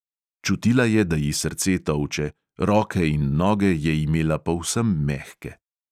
Čutila je, da ji srce tolče, roke in noge je imela povsem mehke.